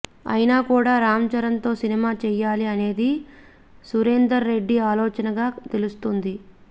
అయినా కూడా రామ్ చరణ్తో సినిమా చెయ్యాలి అనేది సురేందర్ రెడ్డి ఆలోచనగా తెలుస్తుంది